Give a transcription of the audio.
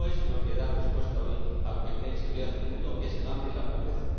No es lo que da respuesta hoy a lo que crea inseguridad en el mundo, a saber, el hambre y la pobreza.